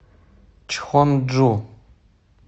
чхонджу